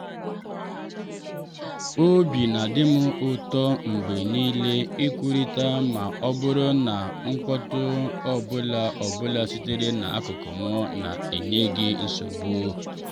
obi na-adị m ụtọ mgbe niile ikwurịta ma ọ bụrụ na mkpọ́tụ ọ bụla bụla sitere n'akụkụ m na-enye gị nsogbu.